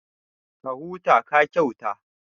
Ka huta, ka kyauta